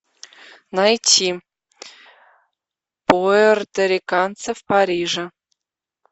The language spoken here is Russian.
найти пуэрториканцы в париже